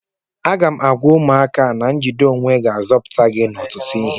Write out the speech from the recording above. M ga-agwa ụmụaka a na njide onwe ga-azọpụta gị n'ọtụtụ ihe